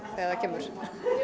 þegar það kemur